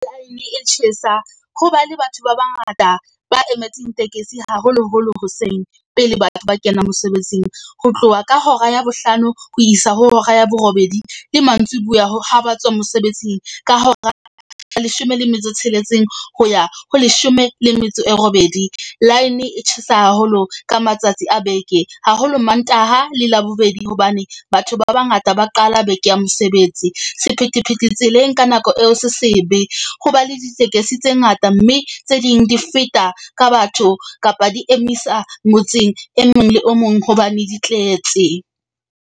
Line e tjhesa ho ba le batho ba bangata ba emetseng tekesi, haholoholo hoseng, pele batho ba kenang mosebetsing. Ho tloha ka hora ya bohlano ho isa ho hora ya borobedi le mantsibuya ha ba tswa mosebetsing. Ka hora leshome le metso tsheletseng, ho ya ho leshome le metso e robedi. Line e tjhesa haholo ka matsatsi a beke. Haholo Mantaha le Labobedi hobane batho ba bangata ba qala beke ya mosebetsi. Sephethephethe tseleng ka nako eo se sebe ho ba le ditekesi tse ngata, mme tse ding di feta ka batho kapa di emisa motseng e mong le o mong hobane di tletse.